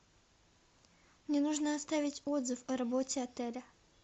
мне нужно оставить отзыв о работе отеля